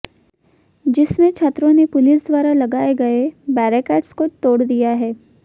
जिसमें छात्रों ने पुलिस द्वारा लगाए गए बैरेकेट्स को तोड़ दिया है